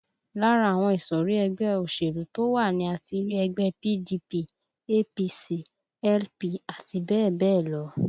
Lára àwọn ìsọ̀rí ẹgbẹ́ òṣèlú to wá ni a ti rí ẹgbẹ́ PDP, APC, LP àti bẹ́ẹ̀ bẹ́ẹ̀ lọ